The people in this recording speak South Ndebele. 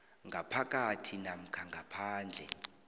ngaphakathi namkha ngaphandle